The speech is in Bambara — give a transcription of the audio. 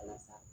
Walasa